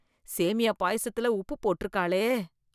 சேமியா பாயாசத்துல உப்பு போட்டிருக்காளே